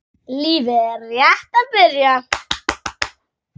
Lífið er rétt að byrja.